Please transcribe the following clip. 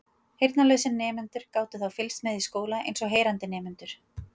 heyrnarlausir nemendur gátu þá fylgst með í skóla eins og heyrandi nemendur